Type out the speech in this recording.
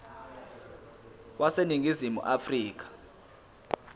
wase ningizimu afrika